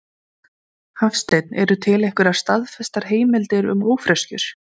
Hafstein Eru til einhverjar staðfestar heimildir um ófreskjur?